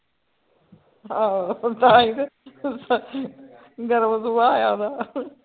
ਆਹੋ ਤਾਂ ਤੇ ਗਰਮ ਸੁਭਾਅ ਆ ਉਹਦਾ